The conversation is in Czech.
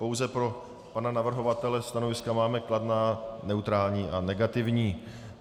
Pouze pro pana navrhovatele: stanoviska máme kladná, neutrální a negativní.